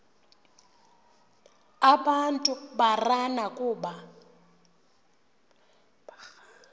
abantu barana kuba